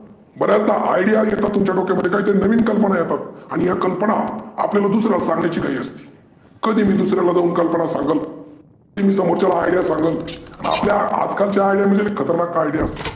बऱ्याचदा IDEA आली तुमच्या डोक्यामध्ये काहीतरी नविन कल्पना येतात आणि या दुसर्‍याला आपल्याला दुसर्‍याला सांगायची घाई असती. कधी मी दुसर्‍याला जाउन कल्पना सांगल समोरच्याला IDEA सांगल आपल्या आजकालच्या खतरनाक आइडिया असतात.